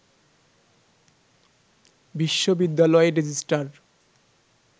বিশ্ববিবদ্যালয়ের registrar